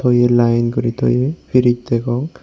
oye line guri toye fridge degong.